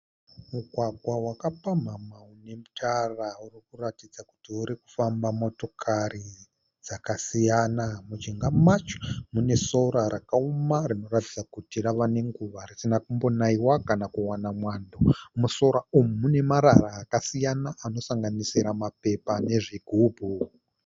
Mugwagwa wakapamhamha une tara urikuratidza kuti urikufamba motokari dzakasiyana. Mujinga macho munesora rakaoma, rinoratidza kuti ravanenguva risina kumbonaiwa kana kuwana mwando. Musora umu mune marara akasiyana anosanganisira mapepa nezvigumbu.